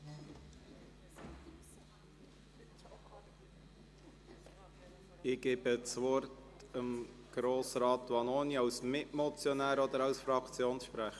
Ich gebe Grossrat Vanoni das Wort: als Mitmotionär oder als Fraktionssprecher?